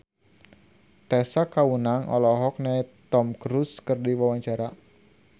Tessa Kaunang olohok ningali Tom Cruise keur diwawancara